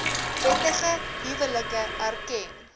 wettige huwelike erken